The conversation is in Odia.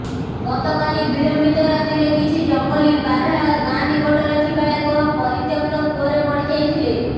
ଗତକାଲି ବିଳମ୍ବିତ ରାତିରେ କିଛି ଜଙ୍ଗଲୀ ବାରହା ଗାଁ ନିକଟରେ ଥିବା ଏକ ପରିତ୍ୟକ୍ତ କୂଅରେ ପଡିଯାଇଥିଲେ